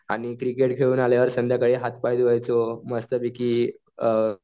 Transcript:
आणि क्रिकेट खेळून आल्यावर संध्याकाळी हात पाय धुवायचो मस्तपैकी अ